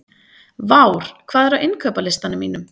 Vár, hvað er á innkaupalistanum mínum?